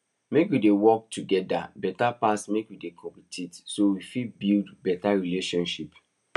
make we dey work togeda beta pass make we dey compete so we fit build beta relationship